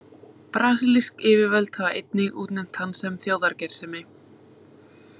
Brasilísk yfirvöld hafa einnig útnefnt hann sem þjóðargersemi.